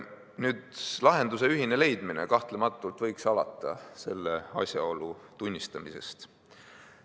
Nüüd, lahenduse ühine leidmine kahtlematult võiks alata selle asjaolu tunnistamisest.